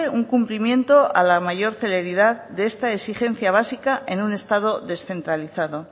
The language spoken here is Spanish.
un cumplimiento a la mayor celeridad de esta exigencia básica en un estado descentralizado